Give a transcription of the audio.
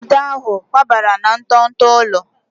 Nwada ahụ kwabara na nto nto ụlọ